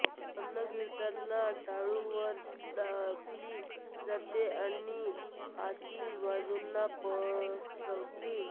अन्न गिळताना जीभ टाळूवर दाबली जाते आणि आतील बाजूना पसरते